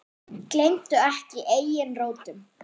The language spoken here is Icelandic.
Gleymdu ekki eigin rótum.